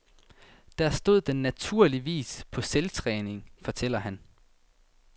Der stod den naturligvis på selvtræning, fortæller han.